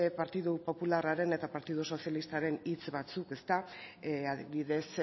partidu popularraren eta partidu sozialistaren hitz batzuk adibidez